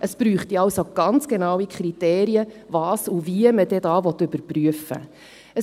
Es bräuchte also ganz genaue Kriterien, was und wie man dann da überprüfen will.